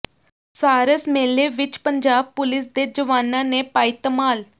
ਸਾਰਸ ਮੇਲੇ ਵਿੱਚ ਪੰਜਾਬ ਪੁਲੀਸ ਦੇ ਜਵਾਨਾਂ ਨੇ ਪਾਈ ਧਮਾਲ